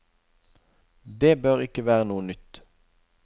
Det bør ikke være noe nytt.